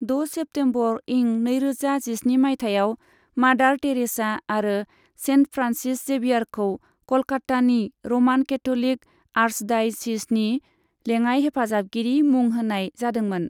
द' सेप्टेम्बर इं नैरोजा जिस्नि माइथायाव मादार टेरेसा आरो सेन्ट फ्रान्सिस जेभियारखौ कलकत्तानि र'मान केथ'लिक आर्चडाय'सीजनि लेङाइ हेफाजाबगिरि मुं होनाय जादोंमोन।